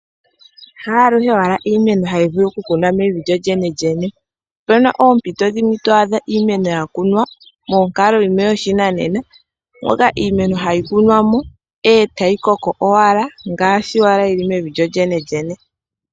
Ha aluhe iimeno hayi vulu okukunwa mevi lyolyenlyene. Opu na oompito dhimwe to adha iimeno ya kunwa monkalo yopashinanena, moka iimeno hayi kunwa mo e tayi koko owala ngaashi yi li mevi.